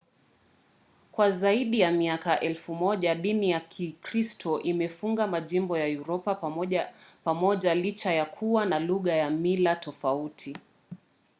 kwa zaidi ya miaka elfu moja dini ya kikristo imefunga majimbo ya uropa pamoja licha ya kuwa na lugha na mila tofauti. i